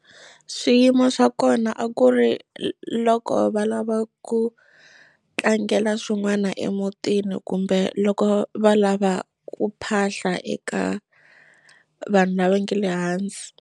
Swiyimo swa kona a ku ri loko va lava ku tlangela swin'wana emutini kumbe loko va lava ku phahla eka vanhu lava nge le hansi.